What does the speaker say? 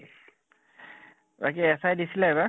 বাকী SI দিছিলা এবাৰ?